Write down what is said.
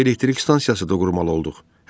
Bəlkə elektrik stansiyası da qurmalı olduq.